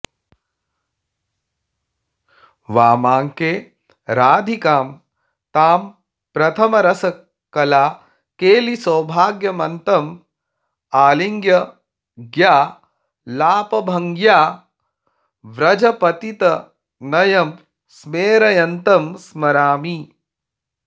वामाङ्के राधिकां तां प्रथमरसकलाकेलिसौभाग्यमत्तं आलिङ्ग्यालापभङ्ग्या व्रजपतितनयं स्मेरयन्तं स्मरामि